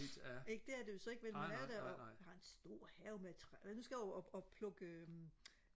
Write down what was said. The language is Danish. ikke det er det jo så ikke vel man er der jo jeg har en stor have med nu skal jeg over og og plukke øh